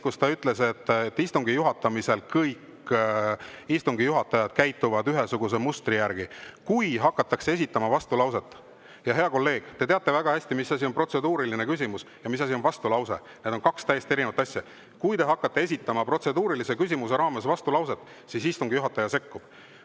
Ta ütles, et istungi juhatamisel käituvad kõik istungi juhatajad ühesuguse mustri järgi: kui hakatakse esitama vastulauset – hea kolleeg, te teate väga hästi, mis asi on protseduuriline küsimus ja mis asi on vastulause, need on kaks täiesti erinevat asja – protseduurilise küsimuse raames, siis istungi juhataja sekkub.